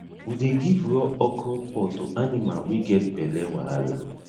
we dey give raw okra pod to animal wey get belle wahala